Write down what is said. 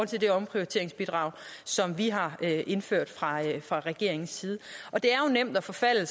til det omprioriteringsbidrag som vi har indført fra fra regeringens side det er jo nemt at forfalde